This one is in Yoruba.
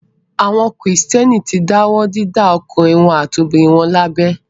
Àwọn Kìrìtẹ́ẹ́nì ti dáwọ́ dídá àwọn ọkùnrin àti obìnrin wọn lábẹ.